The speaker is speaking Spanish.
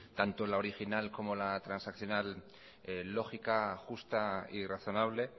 tanto la original como la transaccional lógica justa y razonable